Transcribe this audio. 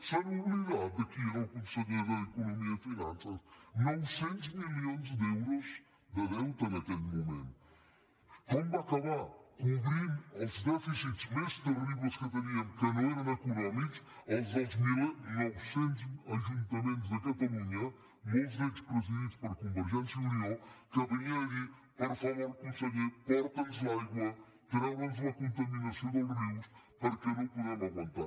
s’han oblidat de qui era el conseller d’economia i finances nou cents milions d’euros de deute en aquell moment com va acabar cobrint els dèficits més terribles que teníem que no eren econòmics els dels nou cents ajuntaments de catalunya molts d’ells presidits per convergència i unió que venien a dir per favor conseller porta’ns l’aigua treu nos la contaminació dels rius perquè no ho podem aguantar